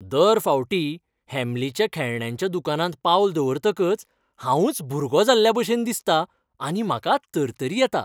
दर फावटी हॅम्लिच्या खेळण्यांच्या दुकानांत पावल दवरतकच हांवच भुरगो जाल्ल्याभशेन दिसता आनी म्हाका तरतरी येता !